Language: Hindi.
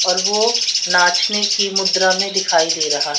और वो नाचने की मुद्रा में दिखाई दे रहा--